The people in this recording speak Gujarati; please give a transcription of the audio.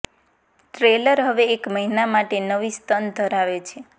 ટેલર હવે એક મહિના માટે નવી સ્તન ધરાવે છે